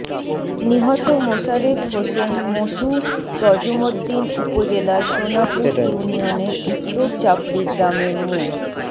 নিহত মোশারেফ হোসেন মশু তজুমদ্দিন উপজেলার সোনাপুর ইউনিয়নের উত্তর চাপড়ি গ্রামের মো